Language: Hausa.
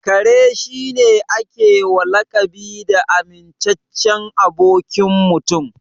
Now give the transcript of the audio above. Kare shi ne a ke wa lakabi da amintaccen abokin Mutum.